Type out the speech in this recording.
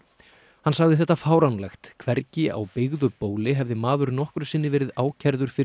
hann sagði þetta fáránlegt hvergi á byggðu bóli hefði maður nokkru sinni verið ákærður fyrir